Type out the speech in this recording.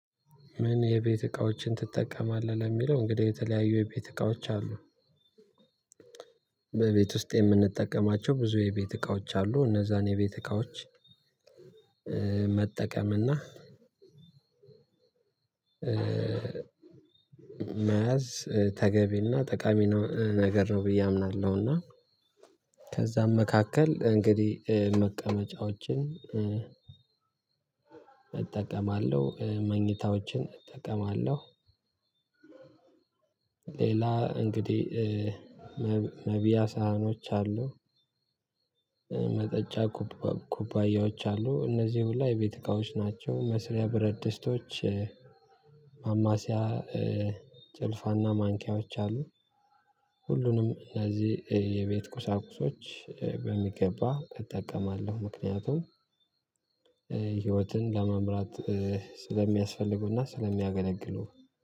ምን የቤት እቃዎችን ትጠቀማለህ? ለሚለው እንግዲህ የተለያዩ የቤት እቃዎች አሉ። በቤት ውስጥ የምንጠቀማቸው ብዙ የቤት እቃዎች አሉ። እነዛን የቤት እቃዎች መጠቀምና መያዝ ተገቢና ጠቃሚ ነው ነገር ነው። ብዬ አምናለሁና ከዛም መካከል እንግዲህ መቀመጫዎችን እጠቀማለሁ። መኝታዎችን እጠቀማለሁ። ሌላ እንግዲህ መብያ ሳህኖች አሉ። መጠጫ ኩባያዎች አሉ። እነዚህ ሁላ የቤት እቃዎች ናቸው መስሪያ ብረድስቶች ማማሲያ ጭልፋና ማንኪያዎች አሉ። ሁሉንም እነዚህ የቤት ቁሳቁሶች በሚገባ እጠቀማለሁ። ምክንያቱም ህይወትን ለመምራት ስለሚያስፈልጉና ስለሚያገለግሉ